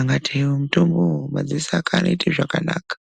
AKATEDZERA MUTOMBOYO MADZISO AKE ANOITA ZVAKANAKA.